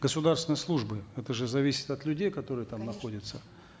государственной службы это же зависит от людей которые там находятся